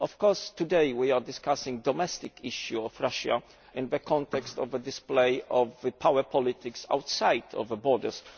Of course, today we are discussing domestic issues in Russia in the context of a display of power politics outside its borders.